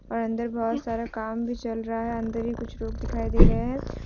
और अंदर बहुत सारा काम भी चल रहा है अंदर भी कुछ लोग दिखाई दे रहे है।